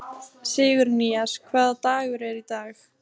Sigurnýjas, hvaða dagur er í dag?